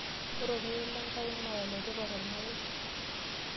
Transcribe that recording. Ore irorei lenkai naa iletipat tormarei.